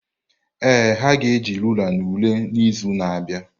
Ee, ha ga-eji rulaa ule n’izu na-abịa.